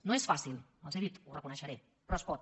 no és fàcil els ho he dit ho reconeixeré però es pot